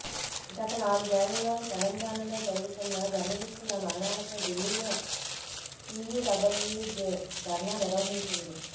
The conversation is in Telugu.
గత నాలుగేళ్లలో తెలంగాణలో జరుగుతున్న జర్నలిస్టుల మరణాలపై ఢిల్లీలో టీయూడబ్య్లూజే ధర్నా నిర్వహించింది